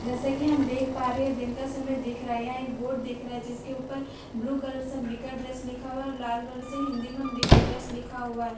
जैसा कि हम देख पा रहे हैं यह दिन का समय दिख रहा है यहां एक बोर्ड दिख रहा है जिस के ऊपर ब्लू कलर से अंबिका ड्रेस लिखा हुआ है और लाल रंग से अंबिका ड्रेस लिखा हुआ है और --